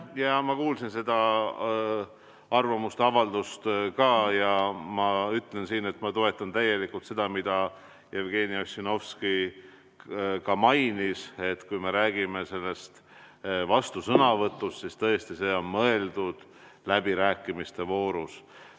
Jaa, ma kuulsin ka seda arvamusavaldust ja ma ütlen, et ma täielikult toetan seda, mida Jevgeni Ossinovski ka mainis, et kui me räägime vastusõnavõtust, siis see tõesti on mõeldud läbirääkimiste voorus.